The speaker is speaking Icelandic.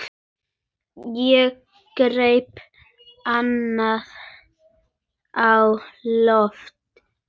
Ég greip andann á lofti.